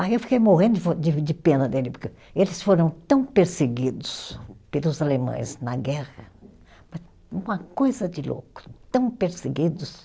Aí eu fiquei morrendo de von, de de pena dele, porque eles foram tão perseguidos pelos alemães na guerra, uma coisa de louco, tão perseguidos.